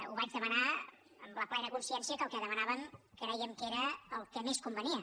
ho vaig demanar amb la plena consciència que el que demanàvem crèiem que era el que més convenia